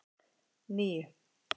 níu